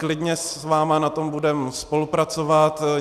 Klidně s vámi na tom budeme spolupracovat.